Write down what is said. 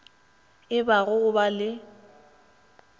e ba go ba le